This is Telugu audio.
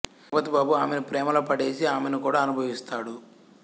జగపతి బాబు ఆమెను ప్రేమలో పడేసి ఆమెను కూడా అనుభవిస్తాడు